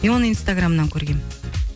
мен оны инстаграмнан көргемін